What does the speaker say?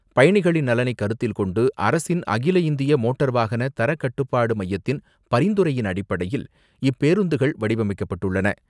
பயணிகளின் நலனை கருத்தில்கொண்டு, அரசின் அகில இந்திய மோட்டார் வாகன தர கட்டுப்பாடு மையத்தின் பரிந்துரையின் அடிப்படையில், இப்பேருந்துகள் வடிவமைக்கப்பட்டுள்ளன.